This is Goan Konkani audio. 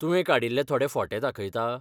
तुवें काडिल्ले थोडे फोटे दाखयता?